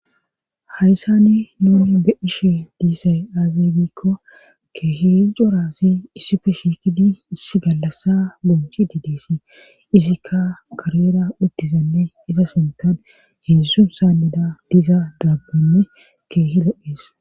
Hayssani nuni be ishe diisay aazaeybikko keehi jorasi issife shikidi iss gallassa bonchi diideesi isikka karera uttizanne isa sintan heessu saanida diza daabbonne keehi lophees.